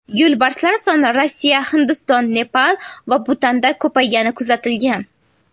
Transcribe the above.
Yo‘lbarslar soni Rossiya, Hindiston, Nepal va Butanda ko‘paygani kuzatilgan.